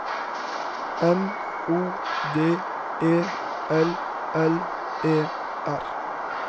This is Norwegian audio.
M O D E L L E R